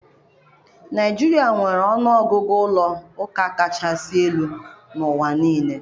Naijiria nwere ọnụ ọgụgụ ụlọ ụka kachasị elu n'ụwa niile.